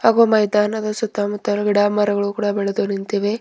ಒ ಮೈದಾನದ ಸುತ್ತ ಮುತ್ತ ಗಿಡಮರಗಳು ಕೂಡ ಬೆಳೆದು ನಿಂತಿವೆ.